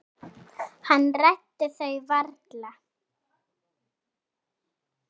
Hann ræddi þau varla.